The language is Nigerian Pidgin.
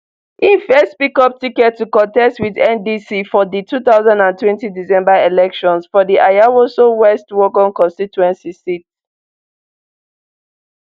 e first pick up ticket to contest wit ndc for di two thousand and twenty december elections for di ayawaso west wuogon constituency seat